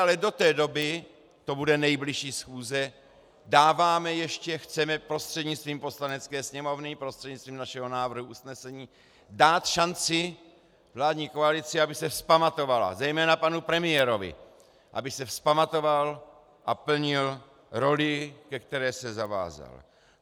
Ale do té doby, to bude nejbližší schůze, dáváme ještě, chceme prostřednictvím Poslanecké sněmovny, prostřednictvím našeho návrhu usnesení dát šanci vládní koalici, aby se vzpamatovala, zejména panu premiérovi, aby se vzpamatoval a plnil roli, ke které se zavázal.